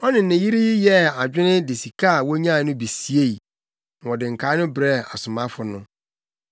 Ɔne ne yere yi yɛɛ adwene de sika a wonyae no bi siei, na wɔde nkae no brɛɛ asomafo no.